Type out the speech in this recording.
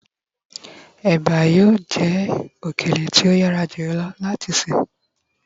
ebi yíò je okele ti o yara jùlọ láti se